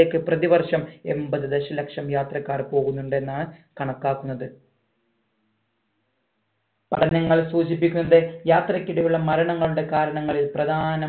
ലേക്ക് പ്രതിവർഷം എൺപത് ദശലക്ഷം യാത്രക്കാർ പോകുന്നുണ്ടെന്നാണ് കണക്കാക്കുന്നത് പഠനങ്ങൾ സൂചിപ്പിക്കുന്നത് യാത്രക്കിടയിൽ ഉള്ള മരണങ്ങളുടെ കാരണങ്ങളിൽ പ്രധാനം